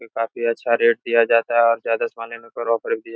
ये काफी अच्छा रेट दिया जाता है और ज्यादा सोने में परोफिट दिया --